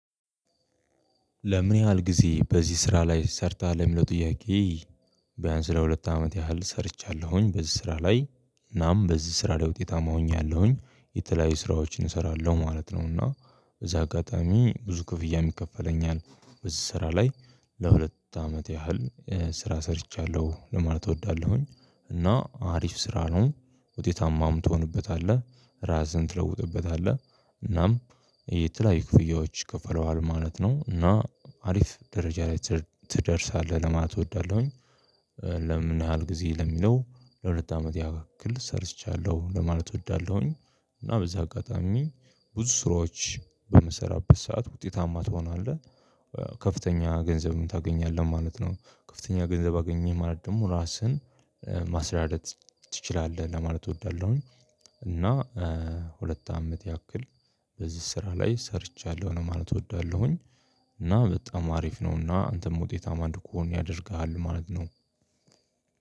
ለምን ያህል ጊዜ በዚህ ስራ ላይ ሰርተሃል ለሚለው ጥያቄ ቢያንስ ለሁለት አመት ያህል ሰርቻለሁኝ በዚህ ስራ ላይ እናም በዚህ ስራ ላይ ውጤታማ ሆኛለሁኝ የተለያዩ ስራዎችን እሰራለሁ ማለት ነው እና በዚህ አጋጣሚ ብዙ ክፍያ የሚከፈለኝ አለ በዚህ ስራ ላይ ለሁለት አመት ያህል ስራ ሰርቻለሁ ለማለት እወዳለሁኝ። እና አሪፍ ስራ ነው። ውጤታማም ትሆንበታለህ ራስህን ትለውጥበታለህ እናም የተለያዩ ክፍያዎች ከፍለዋል ማለት ነው እና አሪፍ ደረጃ ላይ ትደርሳለህ ለማት እወዳለሁኝ ለምን ያህል ጊዜ ለሚለው ለሁለት አመት ያክል ሰርቻለሁ ለማለት እወዳለሁኝ እና በዚህ አጋጣሚ ብዙ ስራዎች በምሰራበት ሰዓት ውጤታማ ትሆናለህ ከፍተኛ ገንዘብም ታገኛለህ ማለት ነው። ከፍተኛ ገንዘብ አገኘህ ማለት ደግሞ ራስህን ማስተዳደር ትችላለህ ለማለት እወዳለሁኝ። እና ሁለት አመት ያክል በዚህ ስራ ላይ ሰርቻለሁ ለማለት እወዳለሁኝ እና በጣም አሪፍ ነውና አንተም ውጤታማ እንድትኮን ያደርግሃል ማለት ነው።